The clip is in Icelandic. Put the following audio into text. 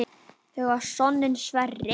Þau eiga soninn Sverri.